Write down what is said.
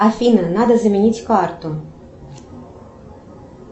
афина надо заменить карту